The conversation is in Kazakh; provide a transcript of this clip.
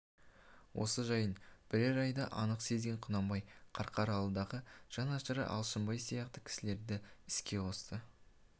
осы жайын бірер айда анық сезген құнанбай қарқаралыдағы жанашыры алшынбай сияқты кісілерді іске қосты